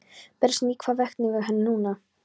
Bersýnilegt hvað vakir fyrir henni núna.